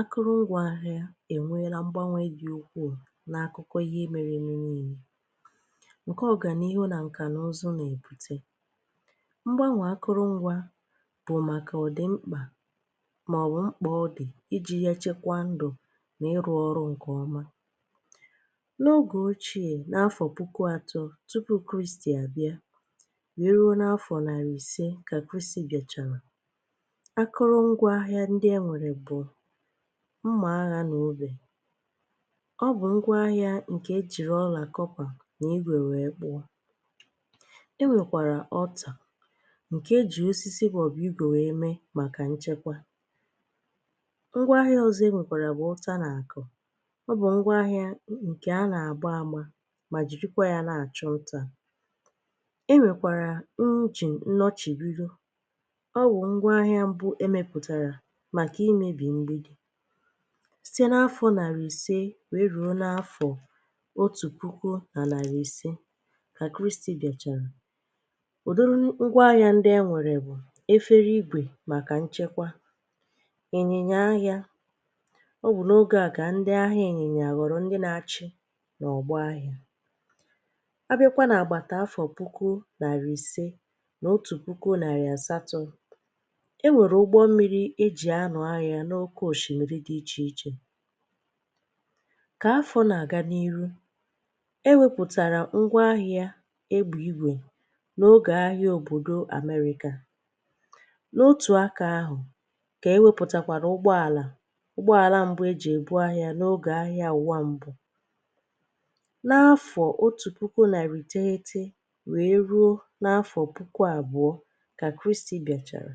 Akụrụngwa ahịà enweela mgbanwe dị ukwuu n’akụkọ ihe mere eme. N’ihe niile nke ọganihu na nka n’ụzọ na-ebute mgbanwe, akụrụngwa bụ maka ọdị mkpa maọbụ mkpa ọ dị iji chekwaa ndụ n’ịrụ ọrụ nke ọma. N’oge ochie, n’afọ puku atọ tupu Kraịst bịara, e nwere ngwa agha dị ka mma agha na ubè. Ọ bụ ngwa ahịà nke e jiri ọla kọpa na ígwè wee kpụọ. E nwekwara ọta nke e ji osisi maọbụ ígwè mee maka nchekwa. Ngwa ahịà ọzọ e nwekwara bụ ụta na akụ. Ọ bụ ngwa ahịà nke a na-agba ama ma jiri ya na-achọ nta. E nwekwara nri, nnọchibiri. Ọ bụ ngwa ahịà mbụ e mepụtara site n’afọ narị ise wee ruo n’afọ otu puku na narị ise ka Kraịst dachara. Ụfọdụ n’ime ngwa ahịà ndị e nwere bụ efere ígwè maka nchekwa. Enyemaka ahịà n’oge ahụ ka ndị ahịà enyemaka ghọrọ ndị na-achị n’ụlọ ọrụ ahịà. A bịa n’afọ puku narị ise na otu puku narị asatọ, e nwere ụgbọ mmiri eji ano ahịà. Ka afọ na-aga n’iru, ewepụtara ngwa ahịà e bu ígwè. N’oge ahịà obodo Amerika, n’otu aka ahụ ka eweputakwara ụgbọala. Ụgbọala mbụ eji ebu ahịà pụtara n’oge Agha Ụwa Mbụ, n’afọ otu puku na narị iteghete wee ruo n’afọ puku abụọ ka Kraịst bịara.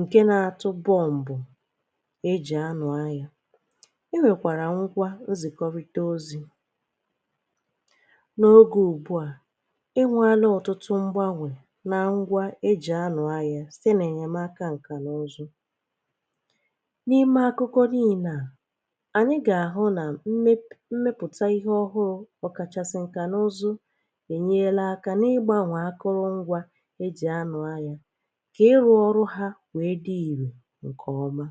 Nke na-atọbọ bụ na mgbe mbụ eji anụ ahịà, e nwekwara nkà nkwukọrịta ozi. N’oge ugbu a, ị nweani ọtụtụ mgbanwe na ngwa eji anụ ahịà site n’ịnye aka nka na ụzụ. N’ime akụkọ anyị, anyị ga-ahụ na mmepụta ihe ọhụrụ, ọkachasị nka na ụzụ, enyela aka n’ịgbanwe akụrụngwa eji anụ ahịà nke ọma.